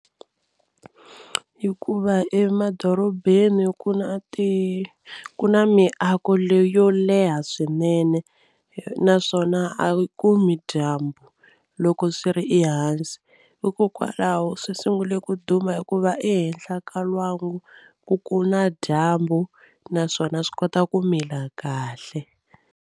Hikuva emadorobeni ku na ti ku na miako leyi yo leha swinene naswona a yi kumi dyambu loko swi ri ehansi hikokwalaho swi sungule ku duma hikuva ehenhla ka lwangu ku ku na dyambu naswona swi kota ku mila kahle.